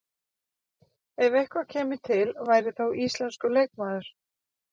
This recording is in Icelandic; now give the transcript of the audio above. Ef eitthvað kæmi til væri það þá íslenskur leikmaður?